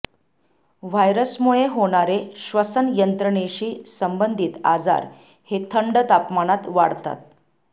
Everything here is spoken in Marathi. व्हायरसमुळे होणारे श्वसनयंत्रणेशी संबंधित आजार हे थंड तापमानात वाढतात